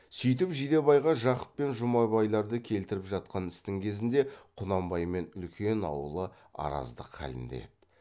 сүйтіп жидебайға жақып пен жұмабайларды келтіріп жатқан істің кезінде құнанбаймен үлкен аулы араздық халінде еді